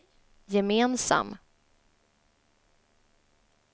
gemensam